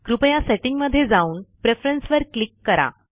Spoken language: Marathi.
कृपया सेटींगमधे जाऊन प्रेफरन्सेस वर क्लिक करा